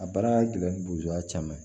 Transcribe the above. A baara gɛlɛma b'u ka caman ye